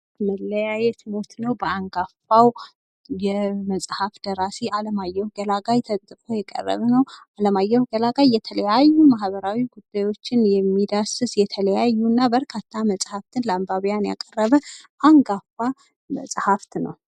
"መለያየት ሞት ነዉ" በአንጋፋዉ የመፅሐፍ ደራሲ አለማየሁ ገላጋይ ተፅፎ የቀረበ ነዉ። አለማየሁ ገላጋይ የተለያዩ ማህበራዊ ጉዳዮችን የሚዳስስ የተለያዩ እና በርካታ መፅሐፍትን ለአንባቢያን ያቀረበ አንጋፋ ፀሐፍት ነዉ።